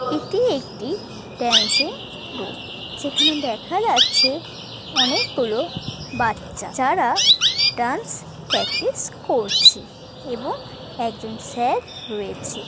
এটি একটি dancing room যেখানে দেখা যাচ্ছে অনেকগুলো বাচ্চা যারা ডান্স প্র্যাকটিস করছে এবং একজন স্যার রয়েছে।